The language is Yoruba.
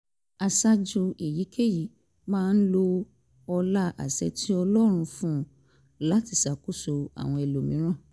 aṣáájú èyíkéyìí máa lo ọlá àṣẹ tí ọlọ́run fún un láti ṣàkóso àwọn ẹlòmíràn